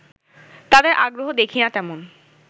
তাদের আগ্রহ দেখি না তেমন